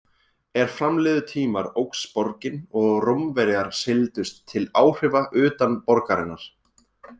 Er fram liðu tímar óx borgin og Rómverjar seildust til áhrifa utan borgarinnar.